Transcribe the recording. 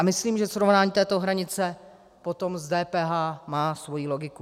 A myslím, že srovnání této hranice potom s DPH má svoji logiku.